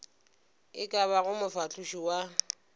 e ka bago mofahloši wa